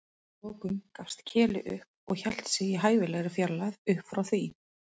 Að lokum gafst Keli upp og hélt sig í hæfilegri fjarlægð upp frá því.